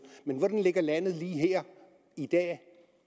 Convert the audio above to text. men hvordan ligger landet lige her i dag